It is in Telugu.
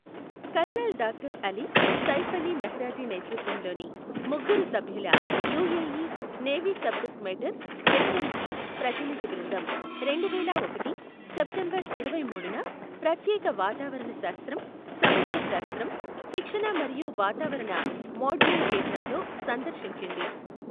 Colonel doctor Ali Saif Ali Mehraji నేతృత్వంలోని ముగ్గురు సభ్యుల UAE navy subject matter SME ప్రతినిధి బృందం రెండువేల ఒకటి సెప్టెంబర్ ఇరవైమూడున ప్రత్యేక వాతావరణ శాస్త్రం, సముద్ర శాస్త్రం, శిక్షణ మరియు వాతావరణ మోడలింగ్ కేంద్రంలో సందర్శించింది.